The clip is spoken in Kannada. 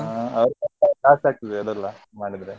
ಹಾ ಅವರು ಆಗ್ತದೆ ಎಲ್ಲ ಮಾಡಿದ್ರೆ.